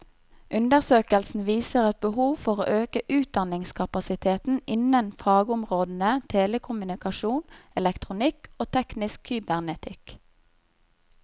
Undersøkelsen viser et behov for å øke utdanningskapasiteten innen fagområdene telekommunikasjon, elektronikk og teknisk kybernetikk.